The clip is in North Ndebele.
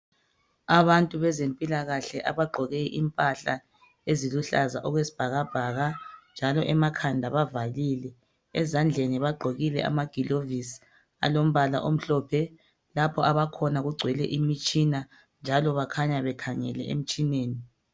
abantu bezempilakahle abagqoke impahla eziluhlaza okwesibhakabhaka njalo emakhanda bavalile ezandleni bagqokile amagilovisi alombala omhlophe lapho abakhona kugcwele imitshina njalo bakhanya bekhangelke emtshineni